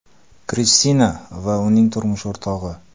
Kristina va uning turmush o‘rtog‘i.